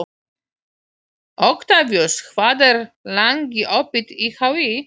Oktavíus, hvað er lengi opið í HÍ?